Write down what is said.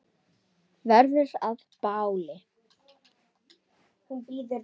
Verður að báli.